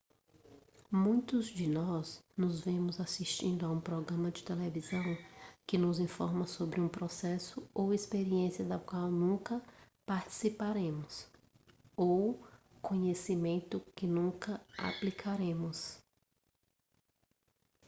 muitos de nós nos vemos assistindo a um programa de televisão que nos informa sobre um processo ou experiência da qual nunca participaremos ou conhecimento que nunca aplicaremos